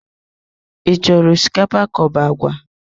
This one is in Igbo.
I chọrọ osikapa kaobu agwa?